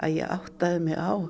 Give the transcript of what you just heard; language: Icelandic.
ég áttaði mig á